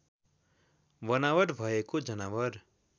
बनावट भएको जनावर